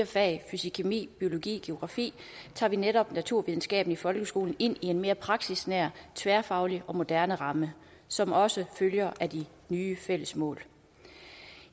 fagene fysikkemi biologi og geografi tager vi netop naturvidenskaben i folkeskolen ind i en mere praksisnær tværfaglig og moderne ramme som også følger af de nye fælles mål